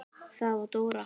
Það var Dóra.